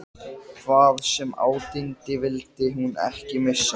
Hvað sem á dyndi vildi hún ekki missa